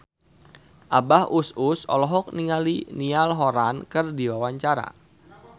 Abah Us Us olohok ningali Niall Horran keur diwawancara